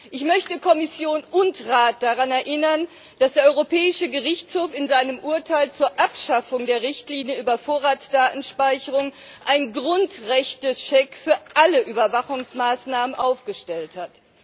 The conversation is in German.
Ich möchte Kommission und Rat daran erinnern, dass der Europäische Gerichtshof in seinem Urteil zur Abschaffung der Richtlinie über Vorratsdatenspeicherung einen Grundrechtecheck für alle Überwachungsmaßnahmen aufgestellt hat.